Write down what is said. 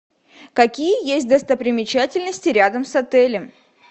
какие есть достопримечательности рядом с отелем